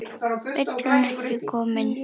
Vill hún ekki koma inn?